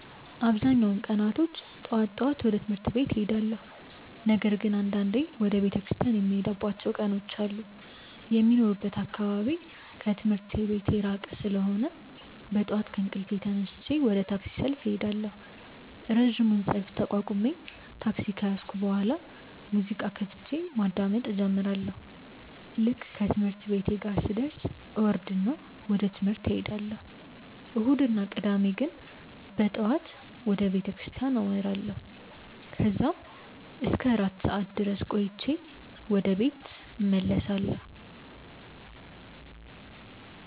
አብዛኛውን ቀናቶች ጠዋት ጠዋት ወደ ትምህርት ቤት እሄዳለሁ። ነገር ግን አንዳንዴ ወደ ቤተክርስቲያን የምሄድባቸው ቀናት አሉ። የሚኖርበት አካባቢ ከትምህርት ቤቴ ራቅ ያለ ስለሆነ በጠዋት ከእንቅልፌ ተነስቼ ወደ ታክሲ ሰልፍ እሄዳለሁ። ረጅሙን ሰልፍ ተቋቁሜ ታክሲ ከያዝኩ በኋላ ሙዚቃ ከፍቼ ማዳመጥ እጀምራለሁ። ልክ ትምህርት ቤቴ ጋር ስደርስ እወርድና ወደ ትምህርት እሄዳለሁ። እሁድ እና ቅዳሜ ግን በጠዋት ወደ ቤተክርስቲያን አመራለሁ። ከዛም እስከ አራት ሰዓት ድረስ ቆይቼ ወደ ቤት እመለሳለሁ።